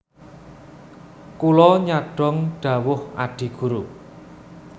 Kula nyadhong dhawuh Adi Guru